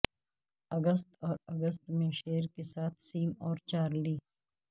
اگست اور اگست میں شیر کے ساتھ سیم اور چارلی